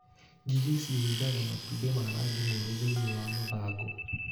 Ngigĩ ciĩigaga matumbĩ ma rangi mwerũ thĩiniĩ wa mathangũ.